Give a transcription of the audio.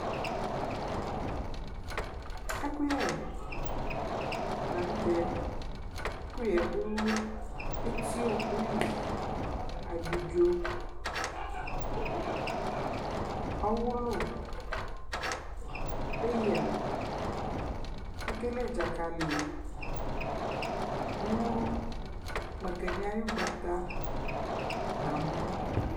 Ɛkʋyɛ la nʋ tɛ Ɛkʋyɛ yɛ dʋ etiɔkʋ li Abidzo, ɔwʋlʋ, paya, ekele dzakali nʋ makani ayʋ gbata nʋ amɔ